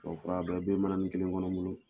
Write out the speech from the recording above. O fura , a bɛɛ bɛ mananin kelen kɔnɔ n bolo!